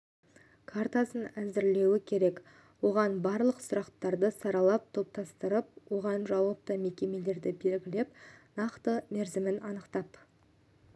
картасын әзірлеуі керек оған барлық сұрақтарды саралап топтастырып оған жауапты мекемелерді белгілеп нақты мерзімін анықтап